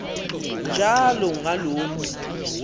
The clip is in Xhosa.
njalo ngaloo mntu